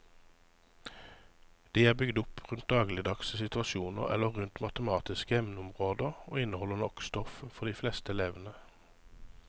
De er bygd opp rundt dagligdagse situasjoner eller rundt matematiske emneområder og inneholder nok stoff for de fleste elevene.